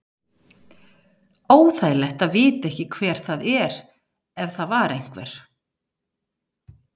Óþægilegt að vita ekki hver það er ef það var einhver.